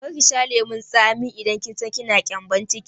Kar ki sha lemun tsami idan kina da gyambon ciki!